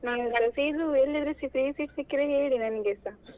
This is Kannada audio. ನೀವ್ಸ ಎಲ್ಲಿಯಾದ್ರೂ free seat ಸಿಕ್ಕಿದ್ರೆ ಹೇಳಿ ನನ್ಗೆಸ.